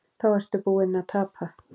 Þá ertu búinn að tapa.